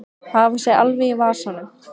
Hafa sig alveg í vasanum.